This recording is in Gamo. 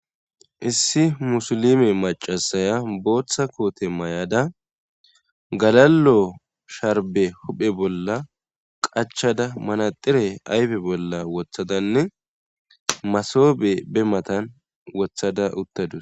issi musulime macasaya booththa koote mayada galalo sharbe huphe bolla qachada manaxire aybe bolla wothadanne masobe be matan wothada uttadus